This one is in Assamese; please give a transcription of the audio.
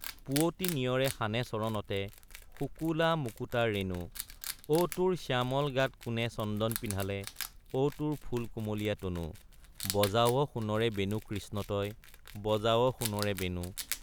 পুৱতি নিয়ৰে সানে চৰণতে শুকুলা মুকুতাৰ ৰেণু অ তোৰ শ্যামল গাতে কোনে চন্দন পিন্ধালে অ তোৰ ফুল কুমলীয়া তনু বজাৱ সোণৰে বেণু কৃষ্ণ তই বজাৱ সোণৰে বেণু।